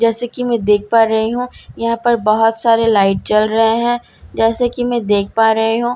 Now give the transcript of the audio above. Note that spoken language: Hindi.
जैसे की मैं देख पा रही हूं यहां पर बहोत सारे लाइट जल रहे हैं जैसे की मैं देख पा रही हूं।